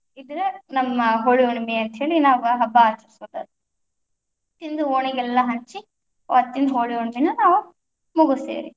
ಇದ್‌ ನಮ್ಮ ಹೋಳಿ ಹುಣ್ಣಿಮೆ ಅಂತ ಹೇಳಿ ನಾವ್ ಹಬ್ಬಾ ಆಚರಸೋದ, ತಿಂದ್ ಓಣಿಗೆಲ್ಲ ಹಂಚಿ, ಅವತ್ತಿನ ಹೋಳಿ ಹುಣ್ಣಮೀನ ನಾವು, ಮುಗಸ್ತೇವರ್ರೀ.